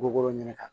Goro ɲini kan